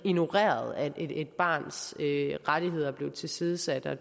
ignoreret at et barns rettigheder er blevet tilsidesat og at